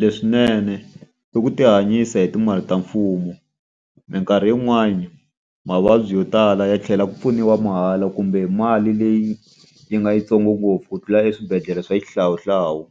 Leswinene i ku ti hanyisa hi timali ta mfumo. Minkarhi yin'wani mavabyi yo tala ya tlhela ku pfuniwa mahala kumbe mali leyi yi nga yitsongo ngopfu ku tlula eswibedhlele swa xihlawuhlawu.